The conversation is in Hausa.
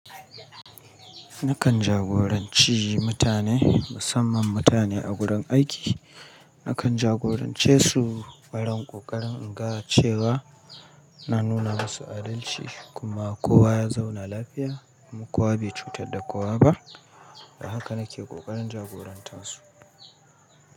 Nakan jagoranci mutane musamman mutane a gudan aiki. Nakan jagorance su barin ƙoƙarin inga cewa na nuna masu adalci kuma kowa ya zauna lafiya kuma kowa bai cutar da kowa ba. Da haka nake ƙoƙarin jagorantar su.